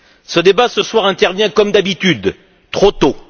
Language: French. Ce débat ce soir intervient comme d'habitude trop tôt.